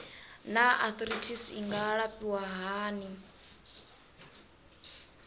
naa arthritis i nga alafhiwa hani